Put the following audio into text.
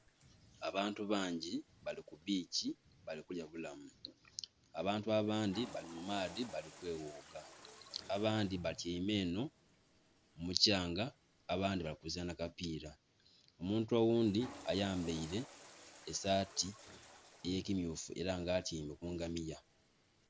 Abantu bangi bali kubbichi bali kulya bulamu abantu abandhi bali mu maadhi bali kweghuga, abandhi batyaime enhou mukyanga abandhi bali kuzaanha kapira, omuntu oghundhi ayambaire esaati eye kimyufu era nga atyaime ku ngamiya.